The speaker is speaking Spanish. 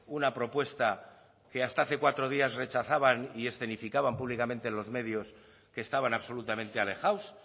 una propuesta que hasta hace cuatro días rechazaban y escenificaban públicamente en los medios que estaban absolutamente alejados